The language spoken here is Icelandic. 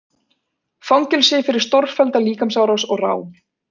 Fangelsi fyrir stórfellda líkamsárás og rán